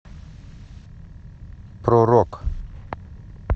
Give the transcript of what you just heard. про рок